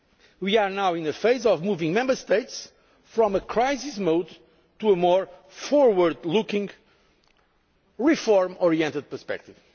progress. We are now in a phase of moving Member States from crisis mode to a more forward looking, reform oriented perspective.